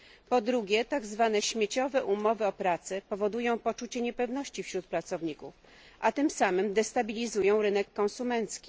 Po trzecie, tak zwane śmieciowe umowy o pracę powodują poczucie niepewności wśród pracowników, a tym samym destabilizują rynek konsumencki.